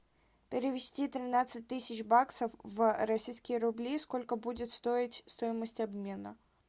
перевести тринадцать тысяч баксов в российские рубли сколько будет стоить стоимость обмена